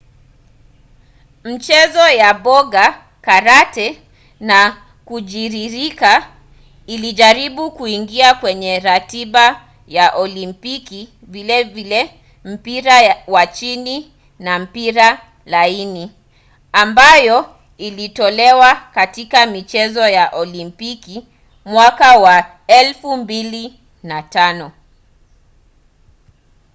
michezo ya boga karate na kujiririka ilijaribu kuingia kwenye ratiba ya olimpiki vilevile mpira wa chini na mpira laini ambayo ilitolewa katika michezo ya olimpiki mwaka wa 2005